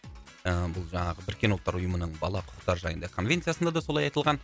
ыыы бұл жаңағы біріккен ұлттар ұйымының бала құқықтары жайында конвенциясында да солай айтылған